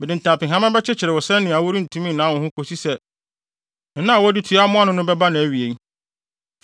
Mede ntampehama bɛkyekyere wo sɛnea worentumi nnan wo ho kosi sɛ nna a wɔde tua mo ano no bɛba nʼawie.